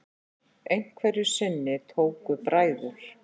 Einhverju sinni tóku bræður